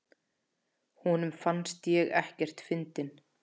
Honum fannst ég ekkert fyndin.